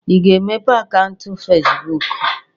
Ị ga-emepe akaụntụ Fezbụk?